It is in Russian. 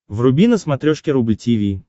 вруби на смотрешке рубль ти ви